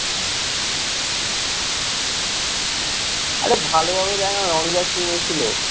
আরে ভালোভাবে দেখ না, রনিদা team এ ছিল,